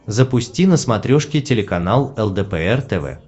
запусти на смотрешке телеканал лдпр тв